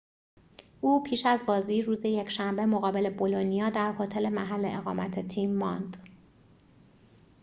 او پیش از بازی روز یکشنبه مقابل بولونیا در هتل محل اقامت تیم ماند